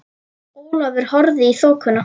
Ólafur horfði í þokuna.